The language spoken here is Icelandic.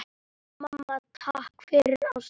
Mamma, takk fyrir ást þína.